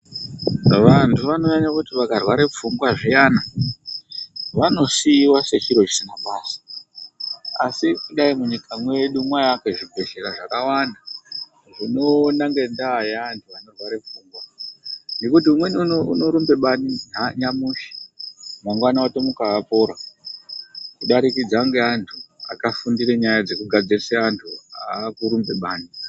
Vantu vanonyanya kuti vakarwara pfungwa zviyana, vanosiiwa sechiro chisina basa. Asi dai munyika medu mwaiakwe zvibhedhlera zvakawanda zvinoona ngendaa yevantu vanorwara pfungwa, ngokuti umweni unorumba bani, nyamushi mangwana otomuka apora kuburikidzana ngeantu akafundira kubatsira antu akurumba bani.